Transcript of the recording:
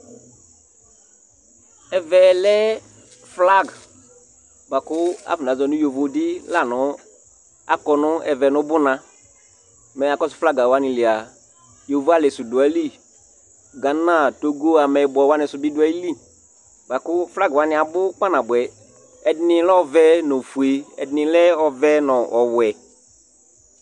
Ɛfɛ lɛ flag bʋa kʋ afɔnazɔ nʋ yovodɩ la nʋ akɔ nʋ ɛvɛ nʋ ʋbʋna Mɛ mʋ akɔsʋ flag wanɩ li a, yovoalɩ sʋ dʋ ayili, gana, togo, ameyibɔ wanɩ sʋ bɩ dʋ ayili, bʋa kʋ flag wanɩ abʋ kpanabʋɛ Ɛdɩnɩ lɛ ɔvɛ nʋ ofue, ɛdɩnɩ lɛ ɔvɛ nʋ ɔwɛ